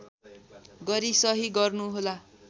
गरी सही गर्नुहोला